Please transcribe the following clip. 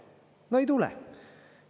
No ei tule!